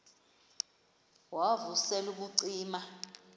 wav usel ubucima